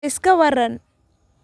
iska waran